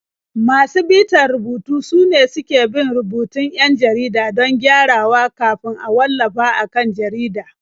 Masu bitar rubutu sune suke bin rubutun 'yan jarida don gyarawa kafin a wallafa a kan jarida.